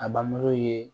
A bamuso ye